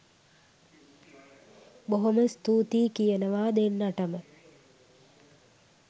බොහොම ස්තූතියි කියනවා දෙන්නටම